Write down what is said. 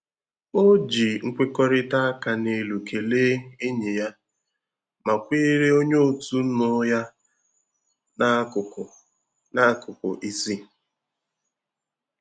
O ji nkwekọrịta áká n'elu kelee enyi ya, ma kweere onye otu nụ ya n'akụkụ n'akụkụ isi.